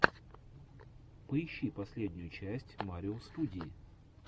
поищи последнюю часть марио студии